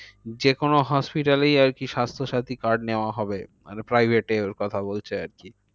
যেকোনো hospital এই আরকি স্বাস্থ্যাসাথী card নেওয়া হবে। মানে private এরও কথা বলছে আরকি।